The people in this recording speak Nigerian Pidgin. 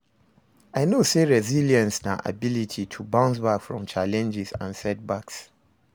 I know say resilience na ability to bounce back from challenges and setbacks.